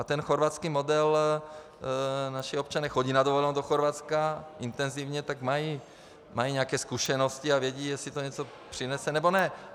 A ten chorvatský model, naši občané jezdí na dovolenou do Chorvatska intenzivně, tak mají nějaké zkušenosti a vědí, jestli to něco přinese, nebo ne.